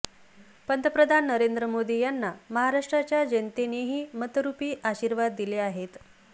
पंतप्रधान नरेंद्र मोदी यांना महाराष्ट्राच्या जनतेनेही मतरुपी आशीर्वाद दिले आहेत